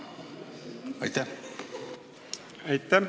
Aitäh!